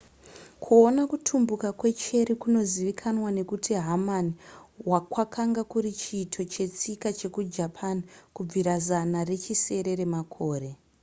kuona kutumbuka kwecherry kunozivikanwa nekuti hamani kwakanga kuri chiito chetsika chekujapan kubvira zana rechisere remakore